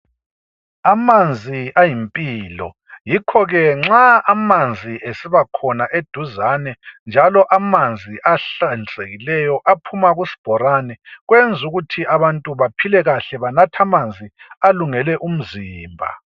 Amanzi ayimpilo yikho ke nxa amanzi esiba khona eduzane njalo amanzi ahlanzekileyo aphuma kusibhorane, kwenzukuthi abantu baphile kahle banathe amanzi alungele umzimba.